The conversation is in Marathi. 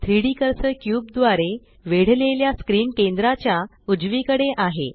3डी कर्सर क्यूब द्वारे वेढलेल्या स्क्रीन केंद्राच्या उजवीकडे आहे